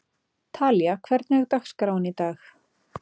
Talía, hvernig er dagskráin í dag?